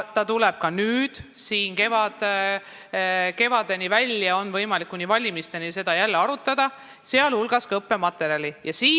See tuleb ka nüüd päevakorda ja seda on võimalik kevadeni, kuni valimisteni välja, siin jälle arutada, sealhulgas ka õppematerjali küsimusi.